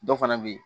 Dɔ fana bɛ yen